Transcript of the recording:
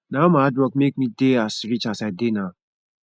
na all my hard work make me dey as rich as i dey now